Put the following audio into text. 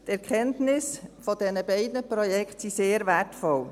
Die Erkenntnisse aus diesen beiden Projekten sind sehr wertvoll;